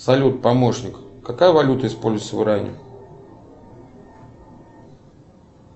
салют помощник какая валюта используется в иране